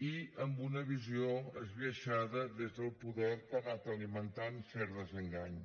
i amb una visió esbiaixada des del poder que ha anat alimentant cert desengany